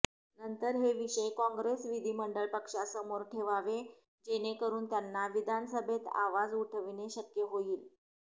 नंतर हे विषय काँग्रेस विधीमंडळ पक्षासमोर ठेवावे जेणेकरुन त्यांना विधानसभेत आवाज उठविणे शक्य होईल